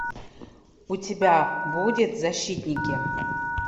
у тебя будет защитники